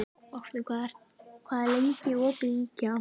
Vápni, hvað er lengi opið í IKEA?